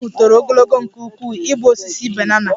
Osisi ahụ toro ogologo nke ukwuu ịbụ osisi banana